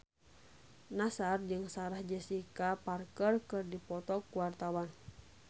Nassar jeung Sarah Jessica Parker keur dipoto ku wartawan